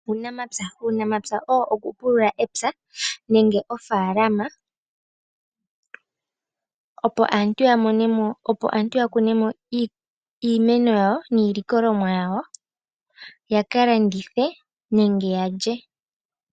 Uunamapya. Uunamapya owo okupulula epya nenge ofaalama opo aantu ya kune mo iimeno yawo niilikolomwa yawo yaka landithe nenge ya lye.